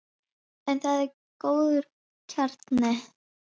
En það er góður kjarni.